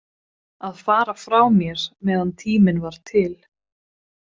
Að fara frá mér meðan tíminn var til.